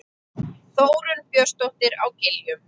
Þórunn Björnsdóttir á Giljum